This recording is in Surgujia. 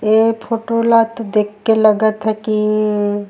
ए फोटो ला तो देख के लगत हे की--